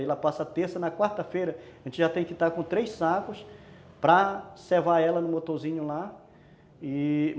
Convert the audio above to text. Aí lá passa terça, na quarta-feira a gente já tem que estar com três sacos para servar ela no motorzinho lá e...